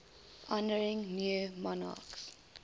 honouring new monarchs